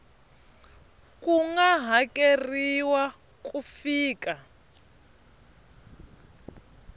ku nga hakeriwa ku fika